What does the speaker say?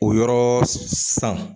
O yɔrɔ san